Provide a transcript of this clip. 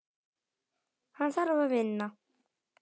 Hann þarf að vinna.